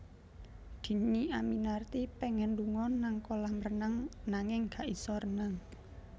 Dhini Aminarti pengen lunga nang kolam renang nanging gak iso renang